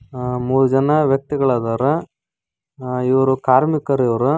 ಹಾ- ಮೂರು ಜನ ವ್ಯಕ್ತಿಗಳಾದಾರ ಆ- ಇವರು ಕಾರ್ಮಿಕರು ಇವರು.